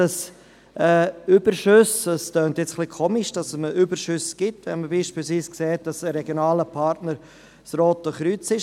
Überschüsse – es tönt etwas eigenartig, dass es Überschüsse gibt, wenn man sieht, dass ein regionaler Partner das Rote Kreuz ist.